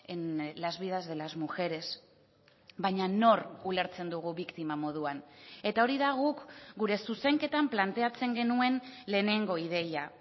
en las vidas de las mujeres baina nor ulertzen dugu biktima moduan eta hori da guk gure zuzenketan planteatzen genuen lehenengo ideia